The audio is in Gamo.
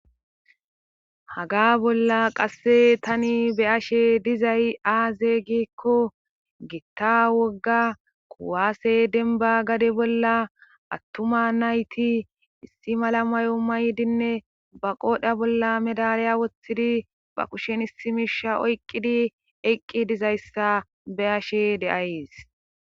haga bolla qasse tani be ashe dizay aazey giekko gitta wogga kuwaase denba gade bolla attuma nayti issi mala mayo maydinne ba qoodha bolla medalaya woththidi ba kushen issi misha oyqqidi eqqi dizayssa be ashe deays